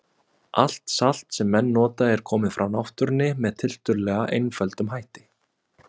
Allt salt sem menn nota er komið frá náttúrunni með tiltölulega einföldum hætti.